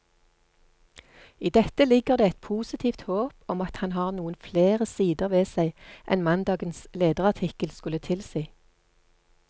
I dette ligger det et positivt håp om at han har noen flere sider ved seg enn mandagens lederartikkel skulle tilsi.